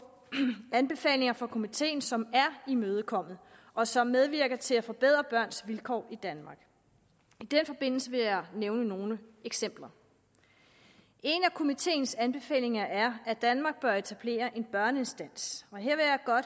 anbefalinger fra komiteen som er imødekommet og som medvirker til at forbedre børns vilkår i danmark i den forbindelse vil jeg nævne nogle eksempler en af komiteens anbefalinger er at danmark bør etablere en børneinstans og her